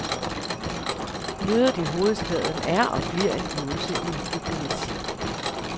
Mødet i hovedstaden er og bliver en øvelse i diplomati.